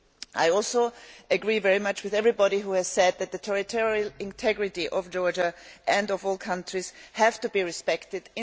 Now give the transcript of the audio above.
I also agree very much with everybody who has said that the territorial integrity of Georgia, and of all countries, has to be respected.